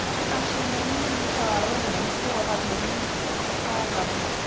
ਆਹ ਛੇਵੇਂ ਮਹੀਨੇ ਮੈਨੂੰ ਸਾਲ ਹੋ ਜਾਣਾ ਈ ਹੋਰ ਅਗਲੇ ਮਹੀਨੇ ਸਾਲ ਲਾਲਾ।